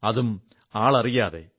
അതും അഞ്ജാതമായി